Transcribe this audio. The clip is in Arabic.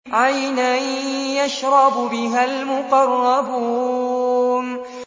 عَيْنًا يَشْرَبُ بِهَا الْمُقَرَّبُونَ